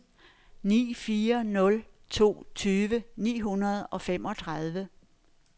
ni fire nul to tyve ni hundrede og femogtredive